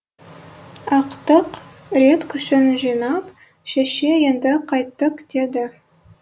ақтық рет күшін жинап шеше енді қайттік деді